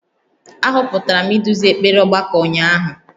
A họpụtara m iduzi ekpere ọgbakọ ụnyahụ